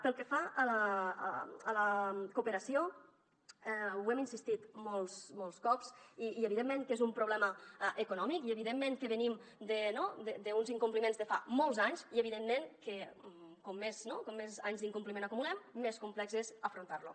pel que fa a la cooperació hi hem insistit molts cops i evidentment que és un problema econòmic i evidentment que venim no d’uns incompliments de fa molts anys i evidentment que com més anys d’incompliment acumulem més complex és afrontar lo